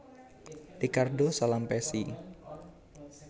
Ricardo Salampessy